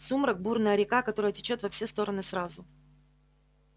сумрак бурная река которая течёт во все стороны сразу